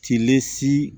Tilen si